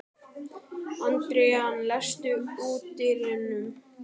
Adrian, læstu útidyrunum.